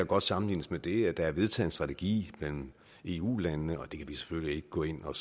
godt sammenlignes med det at der er vedtaget en strategi mellem eu landene og det kan vi selvfølgelig ikke gå ind og